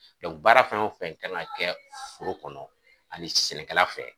baara fɛn o fɛn kan ŋa kɛ foro kɔnɔ ani sɛnɛkɛla fɛ